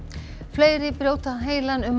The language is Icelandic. fleiri brjóta heilann um